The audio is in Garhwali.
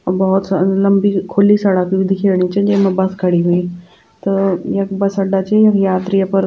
अ भौत स लंबी खुली सड़क दिखेंणी भी च जैमा बस खड़ी हुईं त यख बस अड्डा च यात्री अपर --